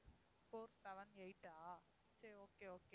four seven eight ஆ சரி okay, okay